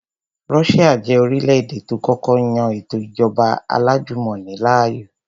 Russia jẹ́ orílẹ̀-èdè tó kọ́kọ́ yan ètò ìjọba alájùmọ̀ni láàyò